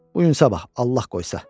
Bu gün sabah, Allah qoysa.